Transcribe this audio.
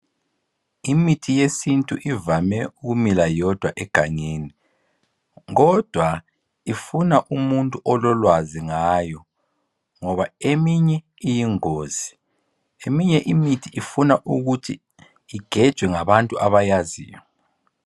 imithi yesintu ivame ukumila yodwa egangeni kodwa ifuna umuntu ololwazi ngayo ngoba eminye iyingozi eminye imithi ifuna ukuthi igejwe ngabantu abayaziyo